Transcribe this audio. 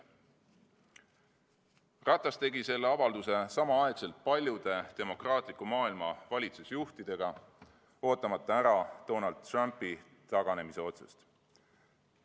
" Ratas tegi selle avalduse samal ajal paljude demokraatliku maailma valitsusjuhtidega, ootamata ära Donald Trumpi taganemise otsust.